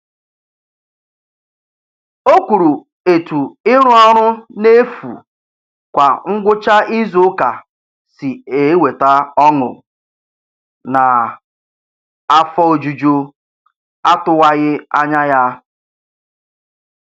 O kwuru etu ịrụ ọrụ n'efu kwa ngwụcha izuụka si eweta ọṅụ naa afọ ojuju atụwaghị anya ya.